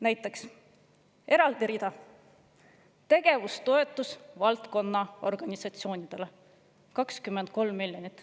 Näiteks on eraldi rida: tegevustoetus valdkonna organisatsioonidele, 23 miljonit.